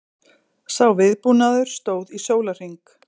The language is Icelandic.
Sá viðbúnaður stóð í sólarhring